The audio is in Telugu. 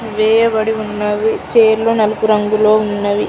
వేయబడియున్నవి ఛైర్లు నలుపు రంగులో ఉన్నవి.